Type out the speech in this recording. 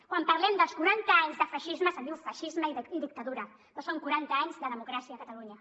quan parlem dels quaranta anys de feixisme se’n diu feixisme i dictadura però són quaranta anys de democràcia a catalunya